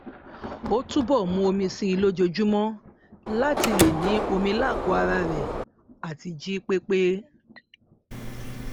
ó túbọ mu omi si lójóojúmọ láti lè ní omi lágọọ ara rẹ àti jí pé pé